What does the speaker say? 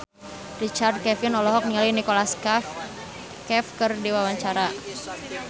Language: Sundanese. Richard Kevin olohok ningali Nicholas Cafe keur diwawancara